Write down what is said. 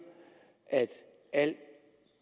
at alt